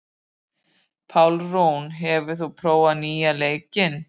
Pálrún, hefur þú prófað nýja leikinn?